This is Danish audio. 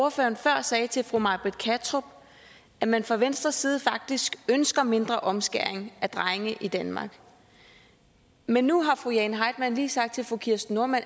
ordføreren før sagde til fru may britt kattrup at man fra venstres side faktisk ønsker mindre omskæring af drenge i danmark men nu har fru jane heitmann lige sagt til fru kirsten normann